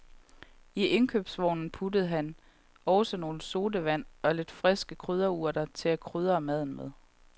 I indkøbsvognen puttede han også nogle sodavand og lidt friske krydderurter til at krydre maden med.